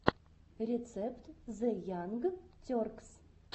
рецепт зе янг теркс